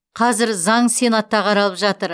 қазір заң сенатта қаралып жатыр